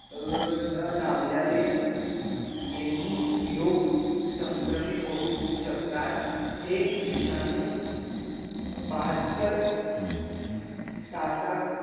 न लाव्ल्याले येनही लोग संक्रमित होऊ शकतात हे विषाणू बहात्तर, बहात्तर तासात